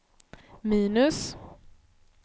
minus